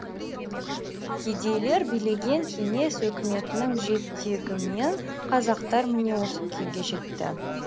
кедейлер билеген кеңес өкіметінің жетегімен қазақтар міне осы күйге жетті